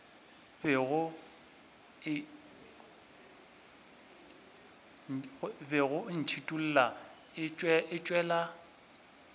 bego e ntšhithola e tšwela